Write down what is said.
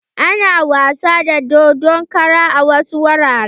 Ana wasa da dodon kara a wasu wuraren.